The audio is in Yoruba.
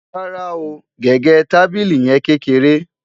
rárá o, gẹgẹ tábìlì yen kékeré